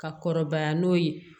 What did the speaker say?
Ka kɔrɔbaya n'o ye